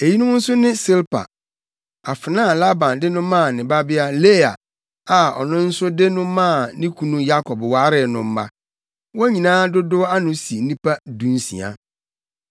Eyinom nso ne Silpa, afenaa a Laban de no maa ne babea Lea a ɔno nso de no maa ne kunu Yakob waree no mma. Wɔn nyinaa dodow ano si nnipa dunsia.